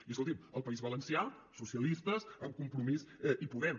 i escolti’m al país valencià socialistes amb compromís i podem